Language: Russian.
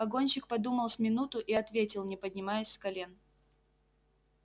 погонщик подумал с минуту и ответил не поднимаясь с колен